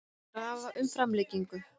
Krafa um framlengingu